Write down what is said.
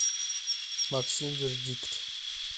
максим вердикт